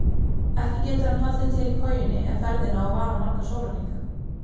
Ekki getur hann haldið til í kojunni ef ferðin á að vara marga sólarhringa.